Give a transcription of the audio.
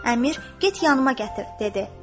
Əmir, get yanıma gətir, dedi.